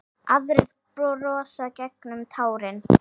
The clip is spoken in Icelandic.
Aðrir brosa gegnum tárin.